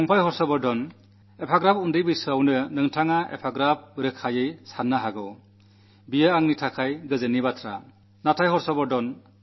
പ്രിയപ്പെട്ട ഹർഷവർധനാ രോഷാകുലമായ ഈ അന്തരീക്ഷത്തിൽ ഈ ചെറു പ്രായത്തിൽ കുട്ടിയ്ക്ക് ആശാവഹമായ രീതിയിൽ ചിന്തിക്കാനാകുന്നു എന്നത് എനിക്കു സന്തോഷം പകരുന്നു